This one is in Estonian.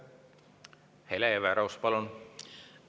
Hele Everaus, palun!